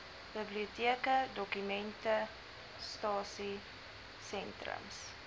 biblioteke dokumentasie sentrums